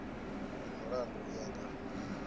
ndi mulandu u ya nga